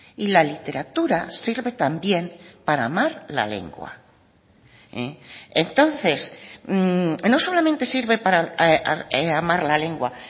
y la literatura sirve también para amar la lengua entonces no solamente sirve para amar la lengua